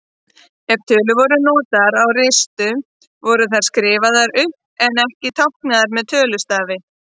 Ef tölur voru notaðar á ristum voru þær skrifaðar upp en ekki táknaðar með tölustaf.